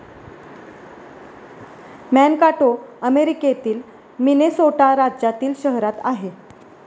Mankato अमेरिकेतील Minnesota राज्यातील शहरात आहे.